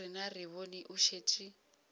rena re bone o šetše